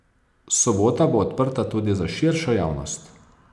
Sobota bo odprta tudi za širšo javnost.